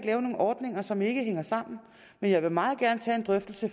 nogen ordninger som ikke hænger sammen men jeg vil meget gerne tage en drøftelse